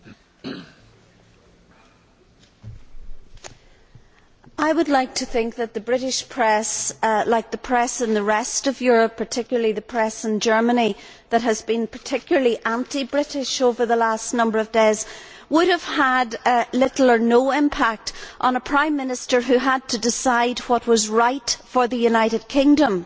Mr President, I would like to think that the British press, like the press in the rest of Europe, particularly the press in Germany that has been particularly anti British over the last number of days, would have had little or no impact on a Prime Minister who had to decide what was right for the United Kingdom.